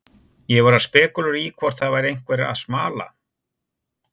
Ég var að spekúlera í hvort það væri einhver að smala.